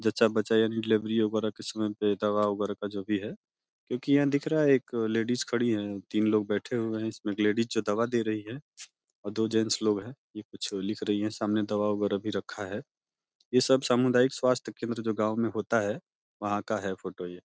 जच्चा-बच्चा यानि डिलीवरी वगैरा के समय पे दवा वगैरा का जो भी है क्योंकि यहाँ दिख रहा है एक लेडीज खड़ी है। तीन लोग बैठे हुए हैं इसमें एक लेडीज जो दवा दे रही है और दो जेंट्स लोग हैं। ये कुछ लिख रही हैं सामने दवा वगैरा भी रखा है। ये सब